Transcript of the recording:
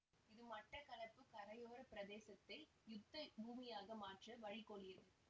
இது மட்டக்களப்பு கரையோர பிரதேசத்தை யுத்த பூமியாக மாற்ற வழிகோலியது